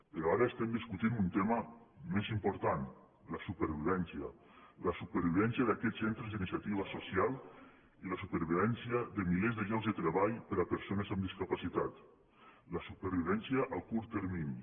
però ara estem discutint un tema més impor·tant la supervivència la supervivència d’aquests cen·tres d’iniciativa social i la supervivència de milers de llocs de treball per a persones amb discapacitat la su·pervivència a curt termini